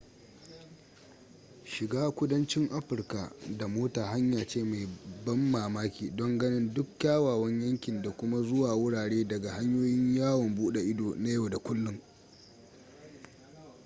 shiga kudancin afirka da mota hanya ce mai ban mamaki don ganin duk kyawawan yankin da kuma zuwa wurare daga hanyoyin yawon buɗe ido na yau da kullun